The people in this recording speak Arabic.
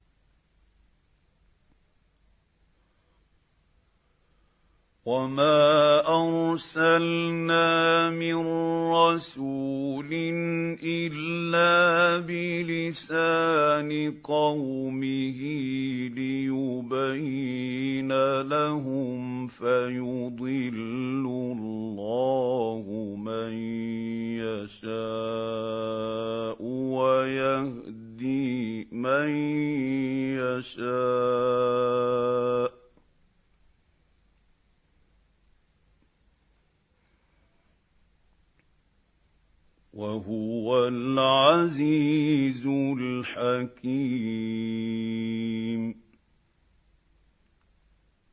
وَمَا أَرْسَلْنَا مِن رَّسُولٍ إِلَّا بِلِسَانِ قَوْمِهِ لِيُبَيِّنَ لَهُمْ ۖ فَيُضِلُّ اللَّهُ مَن يَشَاءُ وَيَهْدِي مَن يَشَاءُ ۚ وَهُوَ الْعَزِيزُ الْحَكِيمُ